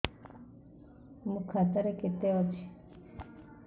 ମୋ ଖାତା ରେ କେତେ ଅଛି